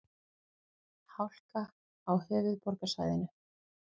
Hálka á höfuðborgarsvæðinu